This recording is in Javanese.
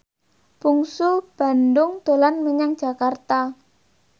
Bungsu Bandung dolan menyang Jakarta